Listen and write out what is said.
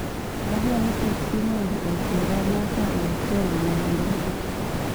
Adwaro teksi mondo oter nyaka e otel ma ndege